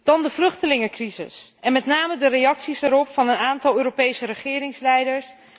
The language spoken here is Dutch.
Dan de vluchtelingencrisis en met name de reacties erop van een aantal Europese regeringsleiders.